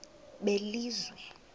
belizwe